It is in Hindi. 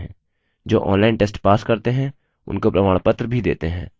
जो online test pass करते हैं उनको प्रमाणपत्र भी देते हैं